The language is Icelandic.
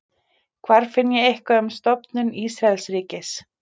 hvar finn ég eitthvað um stofnun ísraelsríkis